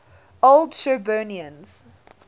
old shirburnians